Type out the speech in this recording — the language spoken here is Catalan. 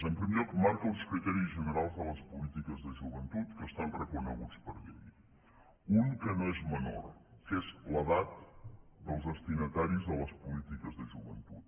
en primer lloc marca uns criteris generals de les polítiques de joventut que estan reconeguts per llei un que no és menor que és l’edat dels destinataris de les polítiques de joventut